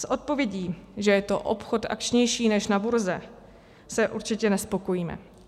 S odpovědí, že je to obchod akčnější než na burze, se určitě nespokojíme.